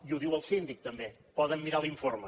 i ho diu el síndic també poden mirar l’informe